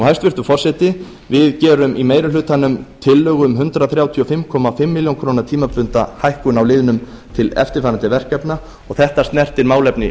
hæstvirtur forseti við gerum í meiri hlutanum tillögu um hundrað þrjátíu og fimm og hálft ár tímabundna hækkun á liðnum til eftirfarandi verkefna og þetta snertir málefni